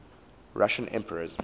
russian emperors